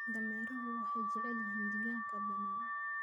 Dameeruhu waxay jecel yihiin deegaanka bannaan.